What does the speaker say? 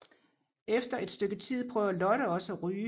Efter et stykke tid prøver Lotte også at ryge